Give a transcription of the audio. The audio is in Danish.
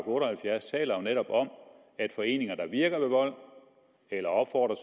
otte og halvfjerds taler jo netop om at foreninger der virker ved vold eller opfordrer